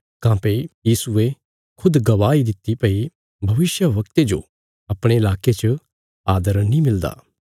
काँह्भई यीशुये खुद गवाही दित्ति भई भविष्यवक्ते जो अपणे लाके च आदर नीं मिलदा